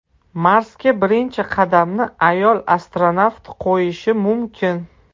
Marsga birinchi qadamni ayol astronavt qo‘yishi mumkin.